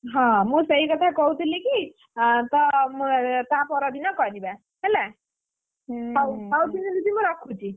ହଁ ମୁଁ ସେଇକଥା କହୁଥିଲିକି, ଅଁ ତ ତାପରଦିନ କରିବା। ହେଲା! ହଉ ଦିଦି ମୁଁ ରଖୁଛି?